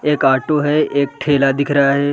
एक ऑटो है एक ठेला दिख रहा है ।